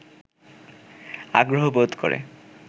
আগ্রহ বোধ করে